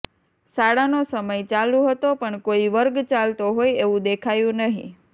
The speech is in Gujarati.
શાળાનો સમય ચાલુ હતો પણ કોઈ વર્ગ ચાલતો હોય એવું દેખાયું નહીં